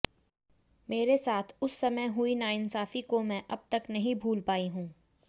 मेरे साथ उस समय हुई नाइंसाफी को मैं अब तक नहीं भूल पाई हूं